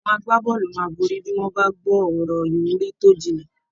Àwọn agbábọ́ọ̀lù máa borí bí wọ́n bá gbọ́ ọ̀rọ̀ ìwúrí tó jinlẹ̀